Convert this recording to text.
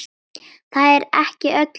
Það er ekki öllum lagið.